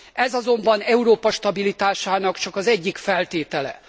Ez azonban Európa stabilitásának csak az egyik feltétele.